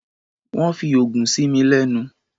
Wọ́n fi oògùn sí mi lẹ́nu.